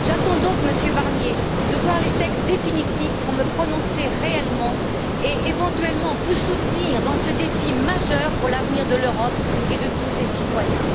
J'attends donc, Monsieur Barnier, de voir les textes définitifs pour me prononcer réellement et éventuellement vous soutenir dans ce défi majeur pour l'avenir de l'Europe et de tous ses citoyens.